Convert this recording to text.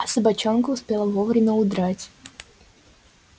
а собачонка успела вовремя удрать